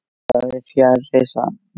En það er fjarri sanni.